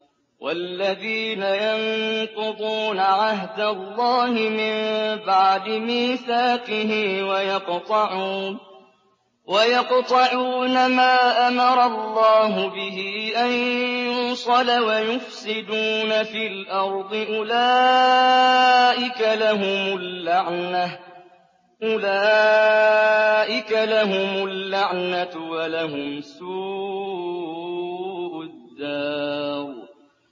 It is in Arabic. وَالَّذِينَ يَنقُضُونَ عَهْدَ اللَّهِ مِن بَعْدِ مِيثَاقِهِ وَيَقْطَعُونَ مَا أَمَرَ اللَّهُ بِهِ أَن يُوصَلَ وَيُفْسِدُونَ فِي الْأَرْضِ ۙ أُولَٰئِكَ لَهُمُ اللَّعْنَةُ وَلَهُمْ سُوءُ الدَّارِ